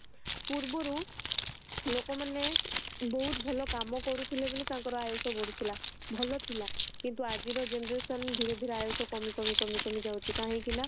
ପୂର୍ବ ରୁ ଲୋକମାନେ ବହୁତ ଭଲ କାମ କରୁ ଥିଲେ ବୋଲି ତାଙ୍କରି ଆୟୁଷ ବଢ଼ୁ ଥିଲା ଭଲ ଥିଲା କିନ୍ତୁ ଆଜିର generation ଧୀରେ ଧୀରେ ଆୟୁଷ କମି କମି କମି ଯାଉଛି କାହିଁକି ନା